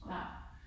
Nej